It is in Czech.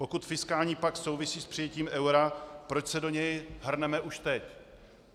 Pokud fiskální pakt souvisí s přijetím eura, proč se do něj hrneme už teď?